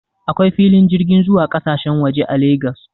Akwai filin jirgin zuwa kasashen waje a Lagos